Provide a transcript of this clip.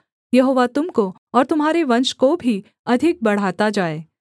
यहोवा तुम को और तुम्हारे वंश को भी अधिक बढ़ाता जाए